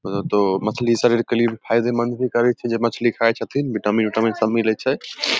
बोले तो मछली शरीर के लिए भी फायदेमंद भी करे छै जेई मछली खाय छथिन विटामीन-ऊटामीन सब मिले छै ।